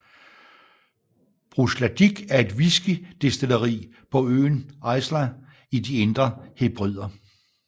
Bruichladdich er et whiskydestilleri på øen Islay i de Indre Hebrider